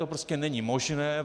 To prostě není možné.